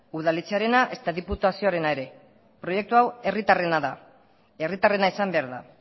udaletxearena ezta diputazioarena ere proiektu hau herritarrena da herritarrena izan behar da